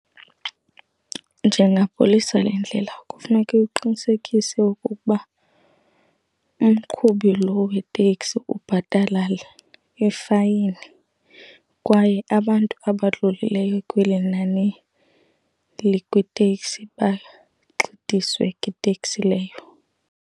Njengapolisa lendlela, kufuneka uqinisekise okokuba umqhubi lowo weteksi ubhatalela i-fine kwaye abantu abadlulileyo kweli nani likwitekisi bagxidiswe kwiteksi leyo.